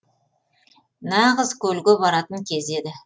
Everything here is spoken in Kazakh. нағыз көлге баратын кез еді